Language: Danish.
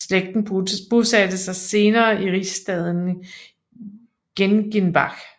Slægten bosatte sig senere i rigsstaden Gengenbach